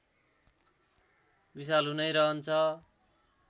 विषालु नै रहन्छ